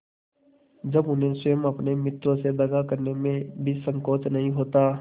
जब उन्हें स्वयं अपने मित्रों से दगा करने में भी संकोच नहीं होता